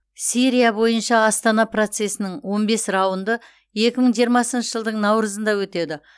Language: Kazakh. сирия бойынша астана процесінің он бес раунды екі мың жиырмасыншы жылдың наурызында өтеді